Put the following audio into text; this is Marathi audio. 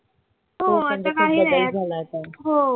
हो आता काही नाही आहे हो